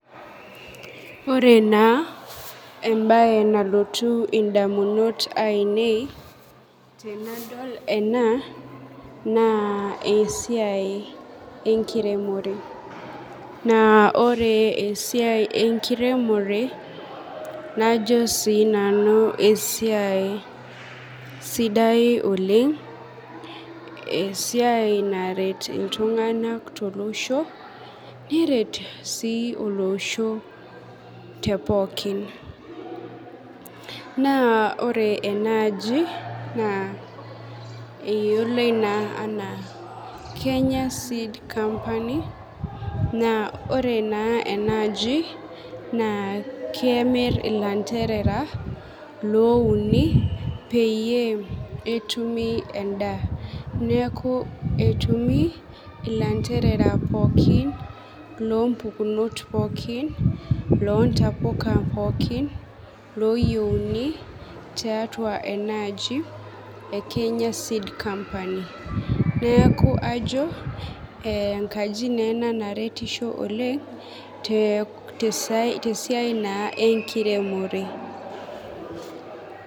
Ore naa embaye nalotu indamunot ainei tenadol enaa naa esiai enkiremore, naa ore esiai enkiremore najo sii nanu esiai sidai oleng, esiai naret ltunganak te losho, neret sii olosho te pooki. Naa ore enaaji naa eyioloi naa enaa Kenya Seed Company, naa ore naa enaaji naa kemir lanterera louni peiye etumi endaa, neaku etumi lanterera pookin loo mpukunot pookin loo ntapuka pookin looyeuni tiatua enaaji e Kenya seed company, neaku ajo enkaji naa ena naretisho oleng te siai naa enkiremore.